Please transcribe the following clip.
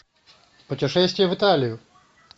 путешествие в италию